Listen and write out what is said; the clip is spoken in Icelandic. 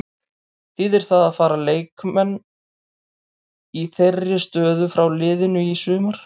Þýðir það að fara leikmenn í þeirri stöðu frá liðinu í sumar?